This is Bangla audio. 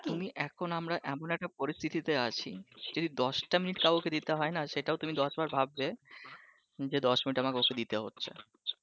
তুমি এখন আমরা এমন একটা পরিস্থিতিতে আছি সেই দশটা মিনিট কাউকে দিতে হয়না সেটাও তুমি দশবার ভাববে যে দশ মিনিট আমার ওকে দিতে হচ্ছে